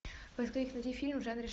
поисковик найди фильм в жанре